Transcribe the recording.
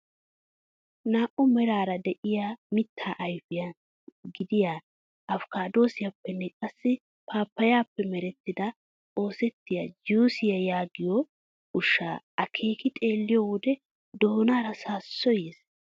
Naa"u meraara de'iyaa mittaa ayfiyaa gidiyaa afikaadosiyaappenne qassi paappayappe maarettidi oosettiyaa juusiyaa yagiyoo ushshaa akeeki xeelliyoo wode doonaara saassoy yees!